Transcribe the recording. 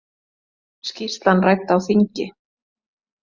Skýrslan rædd á þingi